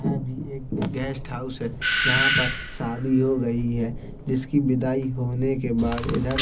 यह भी एक गेस्ट हाउस है यहाँ पर शादी हो गयी है जिसकी बिदाई होने के बाद इधर --